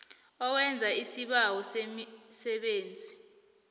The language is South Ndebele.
owenza isibawo semisebenzi